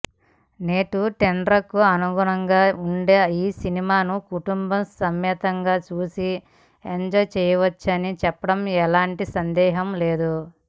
నేటి ట్రెండ్కు అనుగుణంగా ఉండే ఈ సినిమాను కుటుంబసమేతంగా చూసి ఎంజాయ్ చేయవచ్చని చెప్పడంలో ఎలాంటి సందేహం లేదు